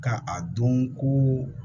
Ka a dɔn ko